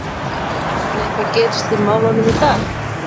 Ætli eitthvað gerist í málunum í dag?